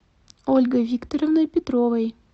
ольгой викторовной петровой